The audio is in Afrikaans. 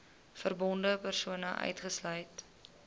verbonde persone uitgesluit